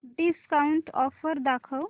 discount offer दाखव